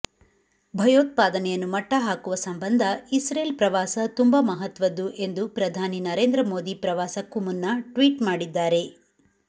ಭಯೋತ್ಪಾದನೆಯನ್ನು ಮಟ್ಟಹಾಕುವ ಸಂಬಂಧ ಇಸ್ರೇಲ್ ಪ್ರವಾಸ ತುಂಬಾ ಮಹತ್ವದ್ದು ಎಂದು ಪ್ರಧಾನಿ ನರೇಂದ್ರ ಮೋದಿ ಪ್ರವಾಸಕ್ಕೂ ಮುನ್ನ ಟ್ವೀಟ್ ಮಾಡಿದ್ದಾರೆ